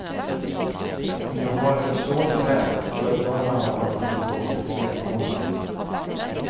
Om du har en förstående chef, förvarna honom att du kommer lite sent på måndag.